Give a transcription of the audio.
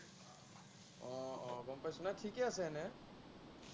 আহ আহ গম পাইছো, ঠিকে আছে, এনেই।